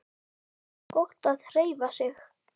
Gott að hreyfa sig.